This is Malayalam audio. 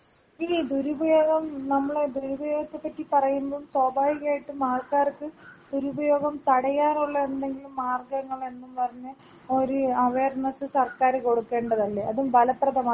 ഈ ദുരുപയോഗം നമ്മള് ദുരുപയോഗത്തെ പറ്റി പറയുമ്പൊ സ്വാഭാവികായിട്ടും ആൾക്കാർക്ക് ദുരുപയോഗം തടയാറുള്ള എന്തെങ്കിലും മാർഗങ്ങെളെന്നും പറഞ്ഞ് ഒരു അവയർനെസ് സർക്കാര് കൊടുക്കേണ്ടതല്ലെ അതും ബലപ്രദമായത്.